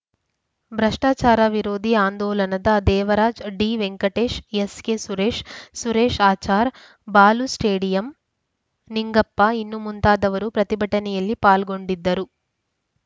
ಭ್ರಷ್ಟಾಚಾರ ವಿರೋಧಿ ಆಂದೋಲನದ ದೇವರಾಜ್‌ ಡಿವೆಂಕಟೇಶ್‌ ಎಸ್‌ಕೆಸುರೇಶ್‌ ಸುರೇಶ್‌ ಆಚಾರ್‌ ಬಾಲು ಸ್ಟೇಡಿಯಂ ನಿಂಗಪ್ಪ ಇನ್ನು ಮುಂತಾದವರು ಪ್ರತಿಭಟನೆಯಲ್ಲಿ ಪಾಲ್ಗೊಂಡಿದ್ದರು